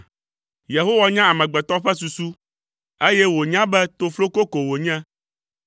Yehowa nya amegbetɔ ƒe susu, eye wònya be tofloko ko wònye.